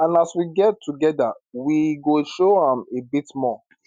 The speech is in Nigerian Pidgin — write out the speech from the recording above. and as we gel togeda we go show am a bit more